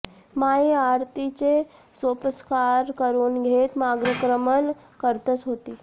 माई आरतीचे सोपस्कार करुन घेत मार्गक्रमण करतच होती